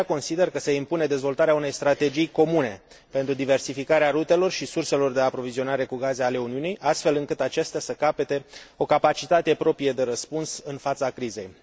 De aceea, consider că se impune dezvoltarea unei strategii comune pentru diversificarea rutelor și surselor de aprovizionare cu gaze ale Uniunii, astfel încât aceasta să capete o capacitate proprie de răspuns în fața crizei.